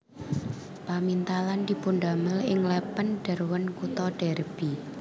Pamintalan dipundamel ing Lèpèn Derwent kutha Derby